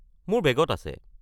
মোৰ বেগত আছে।